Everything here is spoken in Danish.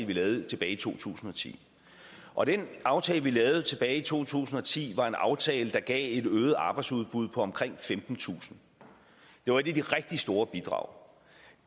vi lavede tilbage i to tusind og ti og den aftale vi lavede tilbage i to tusind og ti var en aftale der gav et øget arbejdsudbud på omkring femtentusind det var et af de rigtig store bidrag